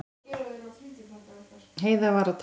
Heiða var að tala.